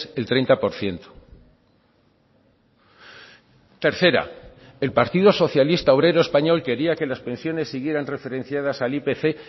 el treinta por ciento tercera el partido socialista obrero español quería que las pensiones siguieran referenciadas al ipc